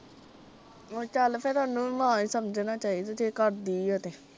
ਉਹ ਚੱਲ ਫੇਰ ਓਹਨੂੰ ਵੀ ਮਾੜਾ ਈ ਸਮਝਣਾ ਚਾਹੀਦਾ ਜੇ ਕਰਦੀ ਆ ਤੇ।